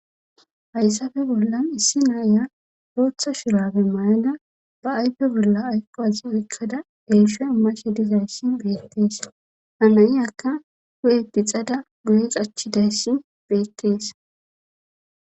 Hayssafe bollan issi naaya hootha shirabe mayada ba aype bolla ayqo azi uikkada elsho mashe dizayssi beettees hanayiyakka hu7eti xada guyes achchidayssi beettees.